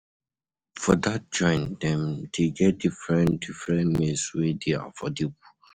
For dat joint, dem dey get different different meals wey dey affordable.